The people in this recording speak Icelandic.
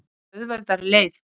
Fer auðveldari leið.